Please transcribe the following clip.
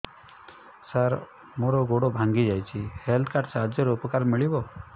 ସାର ମୋର ଗୋଡ଼ ଭାଙ୍ଗି ଯାଇଛି ହେଲ୍ଥ କାର୍ଡ ସାହାଯ୍ୟରେ ଉପକାର ମିଳିବ